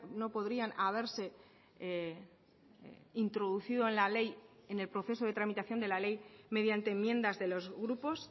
no podrían haberse introducido en la ley en el proceso de tramitación de la ley mediante enmiendas de los grupos